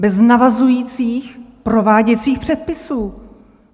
Bez navazujících prováděcích předpisů!